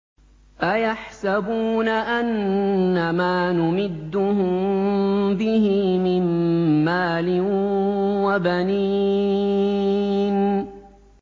أَيَحْسَبُونَ أَنَّمَا نُمِدُّهُم بِهِ مِن مَّالٍ وَبَنِينَ